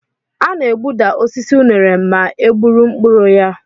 A na-egbuda osisi unere ma e gburu mkpụrụ ya.